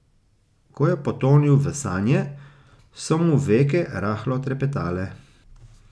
Ko je potonil v sanje, so mu veke rahlo trepetale.